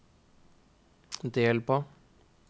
del på